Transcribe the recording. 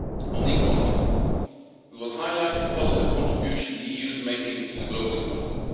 On the economy, we will highlight the positive contribution the EU is making to the global economy.